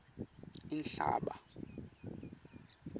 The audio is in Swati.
inhlaba